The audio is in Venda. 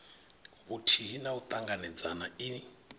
vhuthihi na u ṱanganedzana i